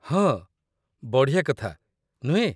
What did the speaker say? ହଁ! ବଢ଼ିଆ କଥା, ନୁହେଁ?